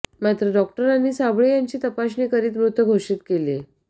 मात्र डॉक्टरांनी साबळे यांची तपासणी करीत मृत घोषित केले